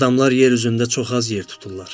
Adamlar yer üzündə çox az yer tuturlar.